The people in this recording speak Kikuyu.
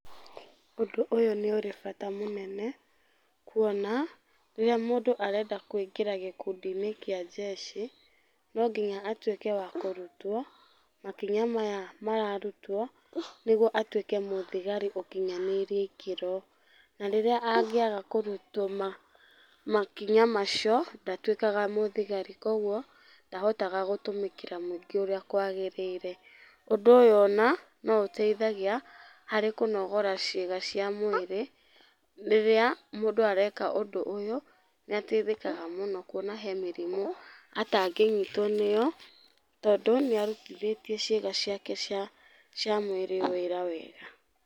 Ũndũ ũyũ nĩũrĩ bata mũnene, kuona, rĩrĩa mũndũ arenda kũingĩra gĩkundi-inĩ kĩa njeci, no nginya atuĩke wa kũrutwo, makinya maya mararutwo nĩguo atuĩke mũthigari ũkinyanĩirie ikĩro. Na rĩrĩa angĩaga kũrutwo makinya macio, ndatuĩkaga mũthigari kuoguo, ndahotaga gũtũmĩkĩra mũingĩ ũrĩa kwagĩrĩire. Ũndũ ũyũ ona no ũteithagia harĩ kũnogora ciĩga cia mwĩrĩ, rĩrĩa mũndũ areka ũndũ ũyũ nĩateithĩkaga mũno kuona he mĩrimũ atangĩnyitwo nĩyo tondũ nĩarutithĩtie ciĩga ciake cia, cia mwĩrĩ wĩra wega.